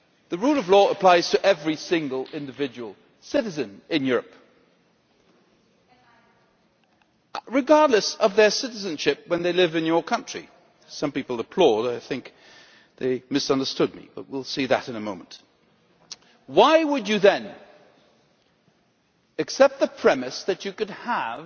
The rule of law applies to every single individual citizen in Europe, regardless of their citizenship, when they live in your country some people are applauding I think they misunderstood me, but we will see in a moment so why would you then accept the premise that you could have